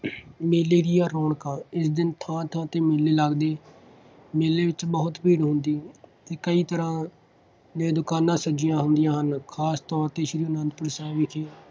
ਮੇਲੇ ਦੀਆਂ ਰੌਣਕਾਂ, ਇਸ ਦਿਨ ਥਾਂ ਥਾਂ 'ਤੇ ਮੇਲੇ ਲੱਗਦੇ। ਮੇਲੇ ਵਿੱਚ ਬਹੁਤ ਭੀੜ ਹੁੰਦੀ ਹੈ। ਕਈ ਤਰ੍ਹਾਂ ਦੀਆਂ ਦੁਕਾਨਾਂ ਸਜੀਆਂ ਹੁੰਦੀਆ ਹਨ। ਖਾਸ ਤੌਰ 'ਤੇ ਸ੍ਰੀ ਆਨੰਦਪੁਰ ਸਾਹਿਬ ਵਿਖੇ.